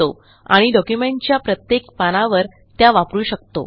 आणि डॉक्युमेंटच्या प्रत्येक पानावर त्या वापरू शकतो